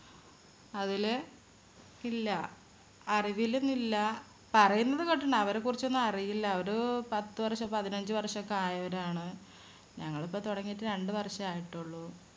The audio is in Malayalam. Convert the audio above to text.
അതില് ഇല്ല. അറിവിലൊന്നും ഇല്ല. പറയുന്നത് കേട്ടിട്ടുണ്ട്. അവരെക്കുറിച്ചൊന്നും അറിയില്ല. അവര് പത്തുവർഷോ പതിനഞ്ചുവർഷോ ഒക്കെ ആയവരാണ്. ഞങ്ങളിപ്പോ തുടങ്ങിയിട്ട് രണ്ട് വർഷേ ആയിട്ടുള്ളൂ.